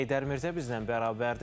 Heydər Mirzə bizlə bərabərdir.